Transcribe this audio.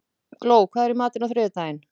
Gló, hvað er í matinn á þriðjudaginn?